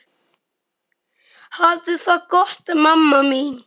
Hafðu það gott mamma mín.